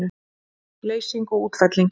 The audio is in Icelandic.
Leysing og útfelling